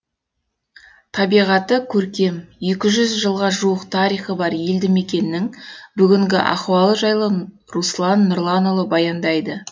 табиғаты көркем екі жүз жылға жуық тарихы бар елді мекеннің бүгінгі ахуалы жайлы руслан нұрланұлы баяндайды